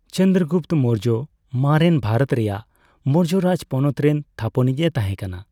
ᱪᱚᱱᱫᱨᱚᱜᱩᱯᱛᱚ ᱢᱳᱨᱡᱚ ᱢᱟᱨᱮᱱ ᱵᱷᱟᱨᱚᱛ ᱨᱮᱭᱟᱜ ᱢᱳᱨᱡᱚ ᱨᱟᱡᱽ ᱯᱚᱱᱚᱛ ᱨᱮᱱ ᱛᱷᱟᱯᱚᱱᱤᱡᱽ ᱮ ᱛᱟᱦᱸᱮᱠᱟᱱᱟ ᱾